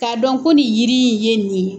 K'a dɔn ko ni yiri in ye nin ye.